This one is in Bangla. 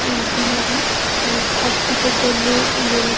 উম বিহারি তারা ছট পুজোর জন্য উম বেরো --